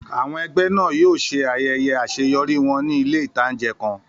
Àwọn ẹgbẹ́ náà yóò ṣe ayẹyẹ àṣeyọrí wọn ní ilé ìtánjẹ kan